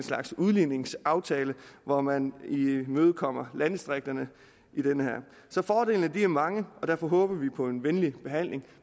udligningsaftale hvor man imødekommer landdistrikterne så fordelene er mange og derfor håber vi på en venlig behandling